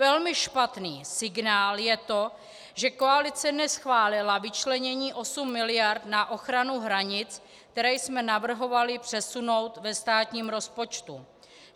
Velmi špatný signál je to, že koalice neschválila vyčlenění osmi miliard na ochranu hranic, které jsme navrhovali přesunout ve státním rozpočtu.